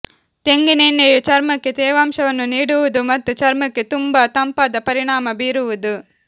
ತೆಂಗಿನೆಣ್ಣೆಯು ಚರ್ಮಕ್ಕೆ ತೇವಾಂಶವನ್ನು ನೀಡುವುದು ಮತ್ತು ಚರ್ಮಕ್ಕೆ ತುಂಬಾ ತಂಪಾದ ಪರಿಣಾಮ ಬೀರುವುದು